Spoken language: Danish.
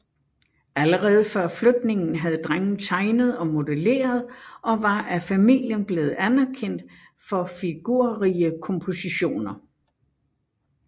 Allerede før flytningen havde drengen tegnet og modelleret og var af familien blevet anerkendt for figurrige kompositioner